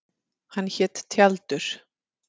Hann hét Tjaldur.